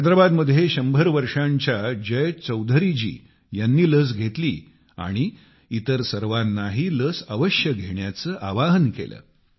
हैदराबाद मध्ये 100 वर्षांच्या जय चौधरीजी ह्यांनी लस घेतली आणि इतर सर्वांनाही लस अवश्य घेण्याचे आवाहन केले